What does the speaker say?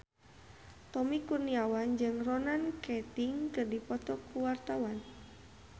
Tommy Kurniawan jeung Ronan Keating keur dipoto ku wartawan